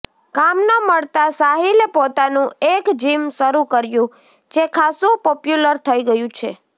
કામ ન મળતા સાહિલે પોતાનું એક જિમ શરૂ કર્યું જે ખાસ્સુ પોપ્યુલર થઈ ગયું છે